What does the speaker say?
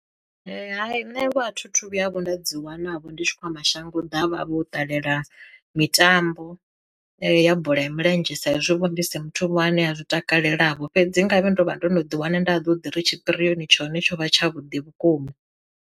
Hai nṋe a thi thu vhuya vho nda dzi wana vho ndi tshi khou ya mashango ḓavha vho ṱalela mitambo ya bola ya milenzhe sa izwi vho ndi si muthu ane a zwi takalela vho, fhedzi ngavhe ndo vha ndo no ḓi wana nda ḓo ḓi ri tshipirioni tshone tsho vha tsha vhuḓi vhukuma.